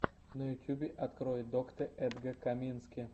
на ютюбе открой доктэ эдга камински